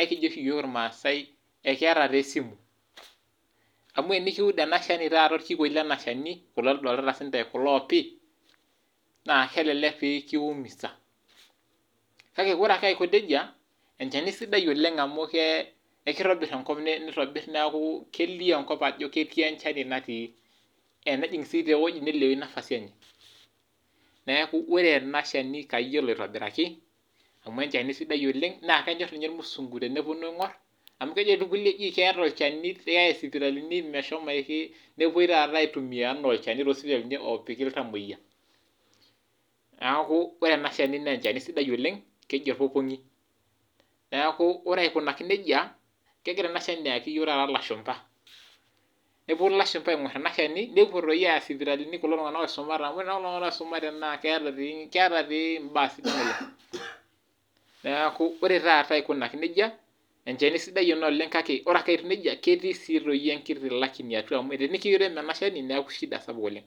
ekijo ooshi iyiok irmaasae ekeeta taa esimu. Amuu enekiud orkikuei leena shani, kulo loldooltata siindae, kulo oopi, naa kelelek pee kiumisa. Kake oore ake aiko nejia, enchani sidai oleng amuu ekeitobir enkop neliou ankop aajo ketii enchani natii, enejing toi sii ewuaji neliou nafasi eenye. Niaku oore eena shani kayiolo aitobiraki amuu enchani sidia oleng naa kenyor ninye irmusunguteneponu aing'or amuu keejo toi irkulie keeeta olchani ,keyai isipitalini meshomoiki, nepuoi taata aitumia enaa olchani tosipitalini opiki iltamueyia. Niaku oore eena shani naa olchani sidai oleng, keji orpopong'i. Niaku oore aikunaki nejia kegira eena shani taata ayaki iyiok ilashumba neponu tata ilashumba aing'or eena shani, nepuo toi aaya isipitalini kulo tung'anak oisumate amuu oore naa kulo tung'anak oisumate keeta toi imbaa sidan oleng. Niaku oore taata aikunaki nejia, enchani sidai eena oleng kake oore aake etiu nejia ketii toi ake sii enkiti lakini atua amuu tenekirem eena shabi niaku shida sapuk oleng.